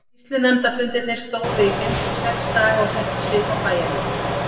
Sýslunefndarfundirnir stóðu í fimm til sex daga og settu svip á bæjarlífið.